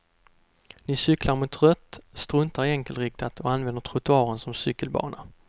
Ni cyklar mot rött, struntar i enkelriktat och använder trottoaren som cykelbana.